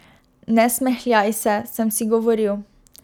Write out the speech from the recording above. Ne smehljaj se, sem si govoril.